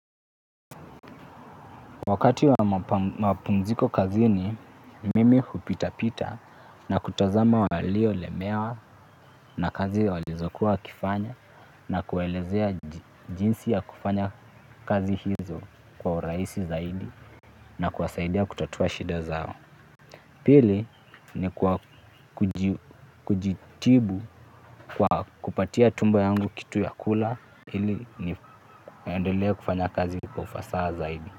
Wakati wa mapumziko kazini mimi hupita pita na kutazama walio lemewa na kazi walizokuwa wakifanya na kuelezea jinsi ya kufanya kazi hizo kwa urahisi zaidi na kuwasaidia kutatua shida zao. Pili ni kujitibu kwa kupatia tumbo yangu kitu ya kula ili ni endele kufanya kazi kwa ufasaha zaidi.